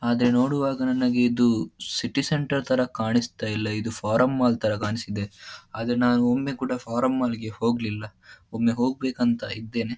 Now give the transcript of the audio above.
ಆದರೆ ನೋಡುವಾಗ ನನಗೆ ಇದು ಸಿಟಿ ಸೆಂಟರ್ ಥರ ಕಾಣಿಸ್ತಾ ಇಲ್ಲ ಇದು ಫಾರಮ್ ಮಾಲ್ ಥರ ಕಾಣ್ಸಿದೆ ಆದರೆ ನಾನು ಒಮ್ಮೆ ಕೂಡ ಫಾರಮ್ ಮಾಲ್ ಗೆ ಹೋಗ್ಲಿಲ್ಲ ಆದರೆ ಒಮ್ಮೆ ಹೋಗ್ಬೇಕಂತ ಇದ್ದೇನೆ.